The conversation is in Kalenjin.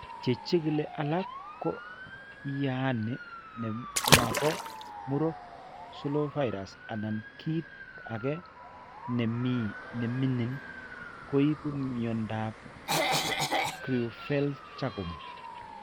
Che chigili alak ko yaani ne mapo muro 'slow virus' anan kiit ake ne miing'in koibu mnyandoap Creutzfeldt Jakob.